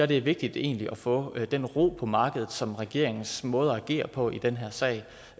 det er vigtigt egentlig at få den ro på markedet som regeringens måde at agere på i den her sag